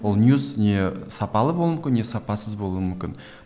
ол ньюс не сапалы болуы мүмкін не сапасыз болуы мүмкін